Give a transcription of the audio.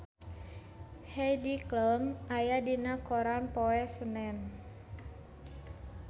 Heidi Klum aya dina koran poe Senen